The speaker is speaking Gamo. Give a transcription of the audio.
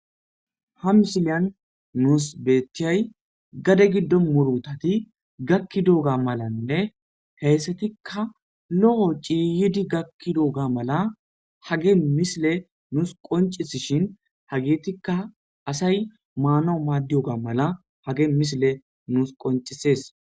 Ha misiliyan nuusi betiyay gade gido murutati gakidoga malanne hesatika lo'o ciiyidi gakidoga mala hagey misiley nuusi qoncisishn , hagetika asayi maanawu maadiyoga mala hageyi misileyi nuusi qoncisesi.